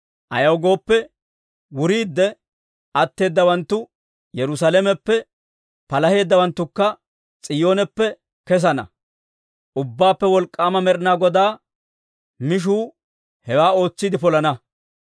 Ayaw gooppe, wuriidde atteedawanttu Yerusaalameppe, palaheeddawanttukka S'iyooneppe kessana. Ubbaappe Wolk'k'aama Med'ina Godaa mishuu hewaa ootsiide polana.